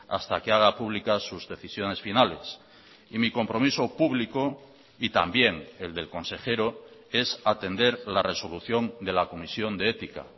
hasta que haga pública sus decisiones finales y mi compromiso público y también el del consejero es atender la resolución de la comisión de ética